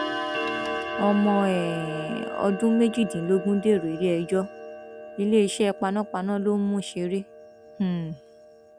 ọmọ um ọdún méjìdínlógún dèrò iléẹjọ iléeṣẹ panápaná ló ń mú ṣeré um